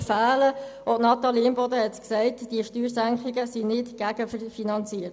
Wie Natalie Imboden bereits gesagt hat, sind diese Steuersenkungen nicht gegenfinanziert.